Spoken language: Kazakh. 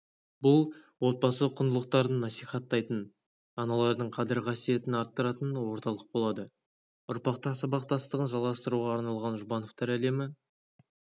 бұл отбасы құндылықтарын насихаттайтын аналардың қадір-қасиетін арттыратын орталық болады ұрпақтар сабақтастығын жалғастыруға арналған жұбановтар әлемі